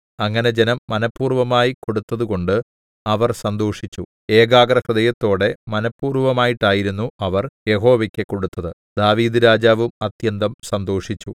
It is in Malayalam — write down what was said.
അങ്ങനെ ജനം മനഃപൂർവ്വമായി കൊടുത്തതുകൊണ്ടു അവർ സന്തോഷിച്ചു ഏകാഗ്രഹൃദയത്തോടെ മനഃപൂർവ്വമായിട്ടായിരുന്നു അവർ യഹോവയ്ക്ക് കൊടുത്തത് ദാവീദ്‌ രാജാവും അത്യന്തം സന്തോഷിച്ചു